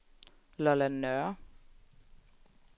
Lolland Nørre